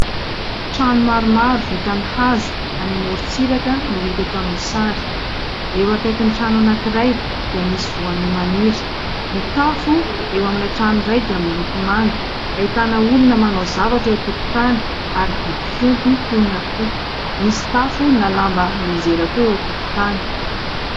Trano maromaro vita amin'ny hazo any amorontsiraka no hita eto amin'ny sary. Eo akaikin'ny trano anankiray dia misy voanio maniry, ny tafo eo amin'ilay trano iray dia miloko manga. Ahitana olona manao zavatra eo an-tokotany ary biby fiompy toy ny akoho. Misy tafo na lamba mianjera koa eo an-tokotany.